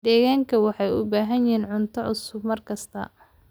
Digaagga waxay u baahan yihiin cunto cusub maalin kasta.